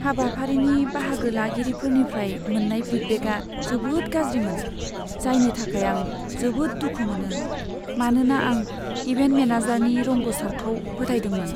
हाबाफारिनि बाहागो लागिरिफोरनिफ्राय मोन्नाय फिडबेकआ जोबोद गाज्रिमोन, जायनि थाखाय आं जोबोद दुखु मोनो, मानोना आं इभेन्ट मेनेजारनि रोंग'सारखौ फोथायदोंमोन।